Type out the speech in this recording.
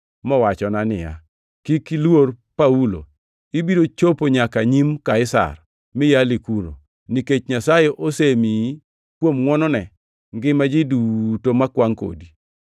mowachona ni, ‘Kik iluor Paulo, ibiro chopo nyaka nyim Kaisar mi yali kuno, nikech Nyasaye osemiyi kuom ngʼwonone, ngima ji duto makwangʼ kodi.’